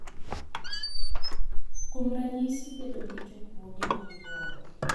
Kuom ranyisi, bedo gi chokruoge mag joot